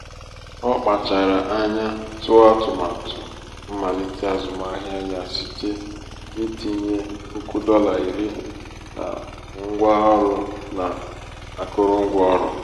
ọ kpachara um anya tụọ atụmatụ um mmalite azụmahịa ya site n'itinye um puku dola iri na ngwa ọrụ na akụrụngwa ọrụ.